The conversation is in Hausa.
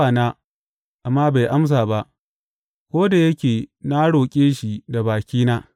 Na kira bawana, amma bai amsa ba, ko da yake na roƙe shi da bakina.